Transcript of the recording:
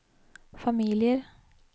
familier